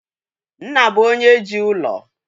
Nna bụ onye jii ụlọ